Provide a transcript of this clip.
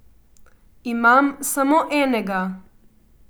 Imam samo enega.